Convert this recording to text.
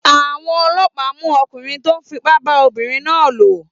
Àwọn ọlọ́pàá mú ọkùnrin tó fipá bá ọmọbìnrin náà lò?